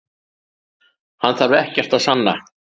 Hann þarf ekkert að sanna